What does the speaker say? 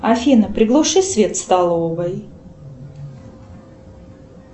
афина приглуши свет в столовой